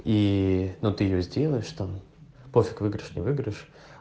и ну ты же сделаешь там пофиг выигрыш не выигрыш